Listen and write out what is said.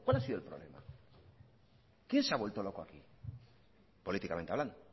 ha sido el problema quién se ha vuelto loco aquí políticamente hablando